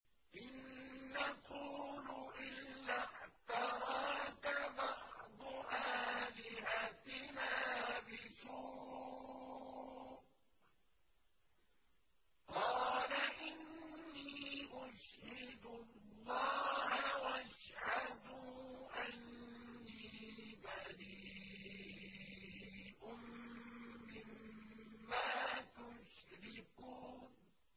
إِن نَّقُولُ إِلَّا اعْتَرَاكَ بَعْضُ آلِهَتِنَا بِسُوءٍ ۗ قَالَ إِنِّي أُشْهِدُ اللَّهَ وَاشْهَدُوا أَنِّي بَرِيءٌ مِّمَّا تُشْرِكُونَ